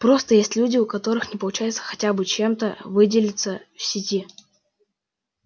просто есть люди у которых не получается хотя бы чем-то выделиться в сети